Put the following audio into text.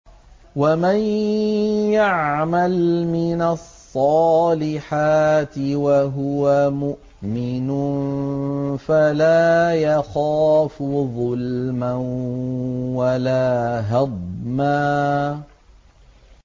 وَمَن يَعْمَلْ مِنَ الصَّالِحَاتِ وَهُوَ مُؤْمِنٌ فَلَا يَخَافُ ظُلْمًا وَلَا هَضْمًا